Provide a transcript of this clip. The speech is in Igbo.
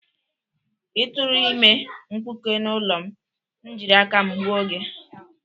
Ị tụrụ ime mkpuke n'ụlọ m, m jiri aka m gbuo gị!